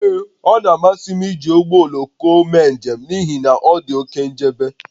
Ee, ọ na-amasị m iji ụgbọ oloko mee njem n'ihi na ọ dị oke nchebe